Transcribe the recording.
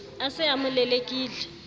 a se a mo lelekile